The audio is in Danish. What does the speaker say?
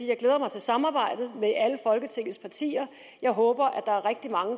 jeg glæder mig til samarbejdet med alle folketingets partier jeg håber der er rigtig mange